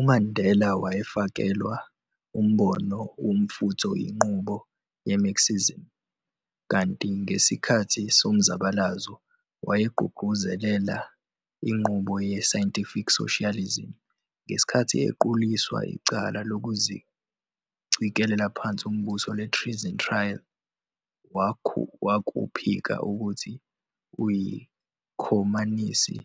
UMandela wayefakelwa umbono womfutho yinqubo ye-Marxism, kanti ngesikhathi somzabalazo wayegqugquzelela inqubo ye-scientific socialism. Ngesikhathi equliswa icala lokucikela phansi umbuso le-Treason Trial, wakuphika ukuthi uyikhomanisi,